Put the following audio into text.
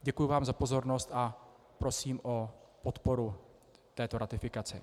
Děkuji vám za pozornost a prosím o podporu této ratifikace.